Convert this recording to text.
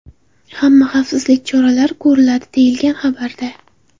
Hamma xavfsizlik choralari ko‘riladi, deyilgan xabarda.